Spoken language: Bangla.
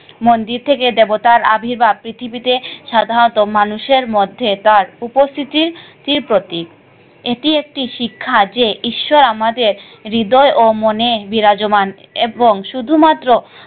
মন্দির থেকে দেবতার আবির্ভাব পৃথিবীতে সাধারণত মানুষের মধ্যে তাঁর উপস্থিতি স্থিতির প্রতীক। এটি একটি শিক্ষা যে ঈশ্বর আমাদের হৃদয় ও মনে বিরাজমান এবং শুধুমাত্র,